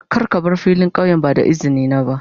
Kar ka bar filin kauyen ba da izini na ba.